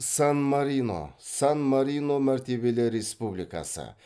сан марино сан марино мәртебелі республикасы